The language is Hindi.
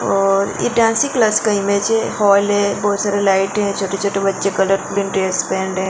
और ये डांसिंग क्लास का इमेज है फॉल है बहुत सारे लाइट है छोटे-छोटे बच्चे कलर ड्रेस बैंड है।